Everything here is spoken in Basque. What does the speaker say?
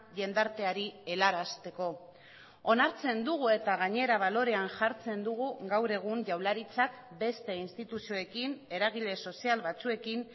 jendarteari helarazteko onartzen dugu eta gainera balorean jartzen dugu gaur egun jaurlaritzak beste instituzioekin eragile sozial batzuekin